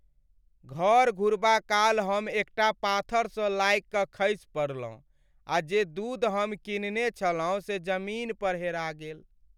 घर घुरबा काल हम एकटा पाथरसँ लागि कऽ खसि पड़लहुँ, आ जे दूध हम कीनने छलहुँ से जमीन पर हेरा गेल।